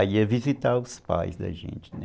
Aí ia visitar os pais da gente, né?